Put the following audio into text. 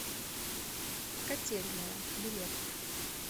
котельная билет